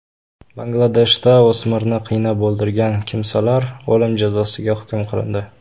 Bangladeshda o‘smirni qiynab o‘ldirgan kimsalar o‘lim jazosiga hukm qilindi.